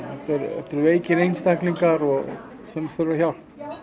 þetta eru veikir einstaklingar sem þurfa hjálp